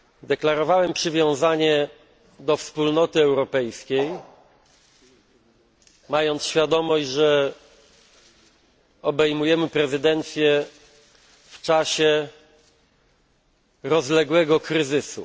Deklarowałem przywiązanie do Wspólnoty Europejskiej, mając świadomość, że obejmujemy prezydencję w czasie rozległego kryzysu.